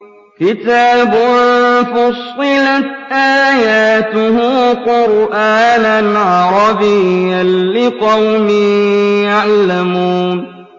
كِتَابٌ فُصِّلَتْ آيَاتُهُ قُرْآنًا عَرَبِيًّا لِّقَوْمٍ يَعْلَمُونَ